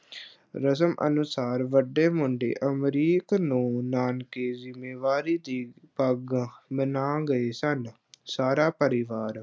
ਰਸਮ ਅਨੁਸਾਰ ਵੱਡੇ ਮੁੰਡੇ ਅਮਰੀਕ ਨੂੰ ਨਾਨਕੇ ਜ਼ਿੰਮੇਵਾਰੀ ਦੀ ਪੱਗ ਬਨ੍ਹਾ ਗਏ ਸਨ ਸਾਰਾ ਪਰਿਵਾਰ